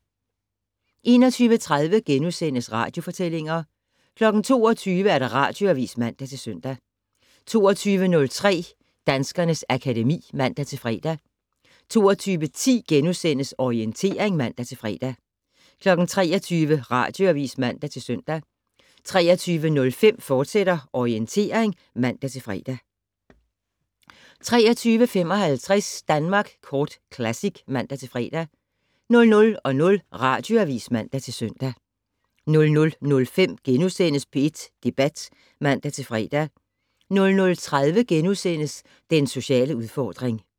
21:30: Radiofortællinger * 22:00: Radioavis (man-søn) 22:03: Danskernes akademi (man-fre) 22:10: Orientering *(man-fre) 23:00: Radioavis (man-søn) 23:05: Orientering, fortsat (man-fre) 23:55: Danmark Kort Classic (man-fre) 00:00: Radioavis (man-søn) 00:05: P1 Debat *(man-fre) 00:30: Den sociale udfordring *